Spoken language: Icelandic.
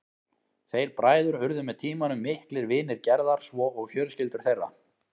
Þeir bræður urðu með tímanum miklir vinir Gerðar svo og fjölskyldur þeirra.